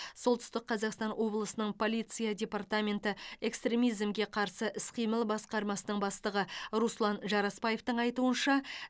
солтүстік қазақстан облысының полиция департаменті экстремизмге қарсы іс қимыл басқармасының бастығы руслан жарасбаевтың айтуынша